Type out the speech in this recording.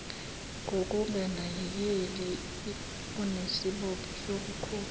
ngokunganakeleli unesibopho sokukhokha